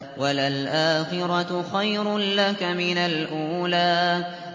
وَلَلْآخِرَةُ خَيْرٌ لَّكَ مِنَ الْأُولَىٰ